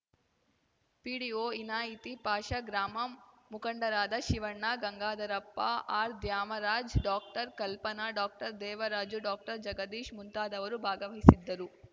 PDO ಇನಾಯಿತಿ Pasha ಗ್ರಾಮಂ ಮುಖಂಡರಾದ ಶಿವಣ್ಣ ಗಂಗಾಧರಪ್ಪ ಆರ್‌ದ್ಯಾಮರಾಜ್‌ ಡಾಕ್ಟರ್ಕಲ್ಪನಾ ಡಾಕ್ಟರ್ದೇವರಾಜು ಡಾಕ್ಟರ್ಜಗದೀಶ್‌ ಮುಂತಾದವರು ಭಾಗವಹಿಸಿದ್ದರು